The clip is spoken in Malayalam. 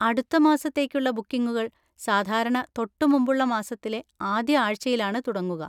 അടുത്ത മാസത്തേക്കുള്ള ബുക്കിങ്ങുകൾ സാധാരണ തൊട്ടുമുമ്പുള്ള മാസത്തിലെ ആദ്യ ആഴ്ചയിലാണ് തുടങ്ങുക.